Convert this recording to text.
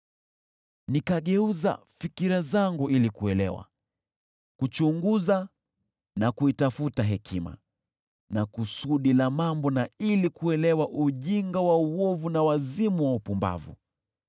Nikageuza fikira zangu ili kuelewa, kuchunguza na kuitafuta hekima na kusudi la mambo, na ili kuelewa ujinga wa uovu, na wazimu wa upumbavu.